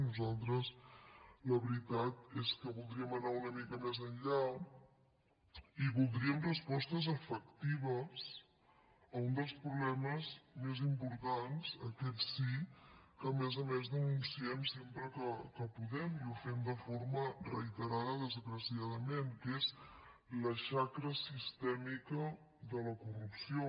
nosaltres la veritat és que voldríem anar una mica més enllà i voldríem respostes efectives a un dels problemes més importants aquest sí que a més a més denunciem sempre que podem i ho fem de forma reiterada desgraciadament que és la xacra sistèmica de la corrupció